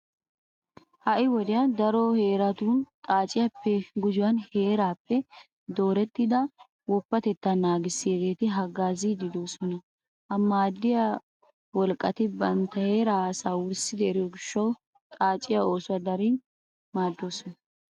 Ha"i wodiyan daro heeratun xaaciyappe gujuwan heeraappe doorettida woppatettaa naagissiyageeti haggaaziiddi de'oosona. Ha maaddiya wolqqati bantta heeraa asaa wurssidi eriyo gishshawu xaaciya oosuwa darin maaddoosona.